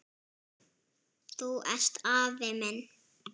Þú ert afi minn!